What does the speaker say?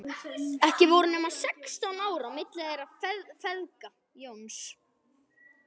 Ekki voru nema sextán ár á milli þeirra feðga, Jóns